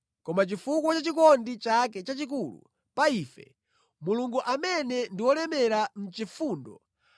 Koma chifukwa cha chikondi chake chachikulu pa ife, Mulungu amene ndi olemera mʼchifundo,